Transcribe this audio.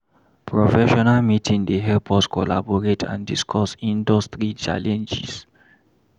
Professional meeting dey help us collaborate and discuss industry challenges.